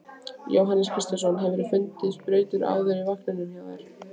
Jóhannes Kristjánsson: Hefurðu fundið sprautur áður í vagninum hjá þér?